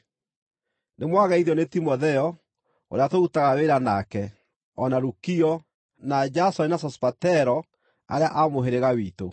Nĩmwageithio nĩ Timotheo, ũrĩa tũrutaga wĩra nake, o na Lukio, na Jasoni na Sosipatero, arĩa a mũhĩrĩga witũ.